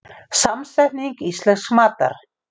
Samsetning íslensks matar